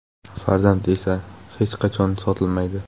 Farzand esa hech qachon sotilmaydi.